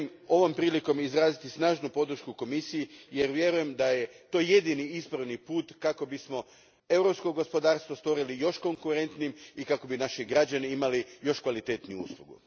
Ovom prilikom želim izraziti snažnu podršku Komisiji, jer vjerujem da je to jedini ispravni put kako bismo europsko gospodarstvo učinili još konkurentnijim i kako bi naši građani imali još kvalitetniju uslugu.